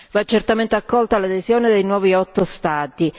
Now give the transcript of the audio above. Va certamente accolta l'adesione dei nuovi otto Stati.